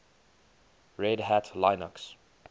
red hat linux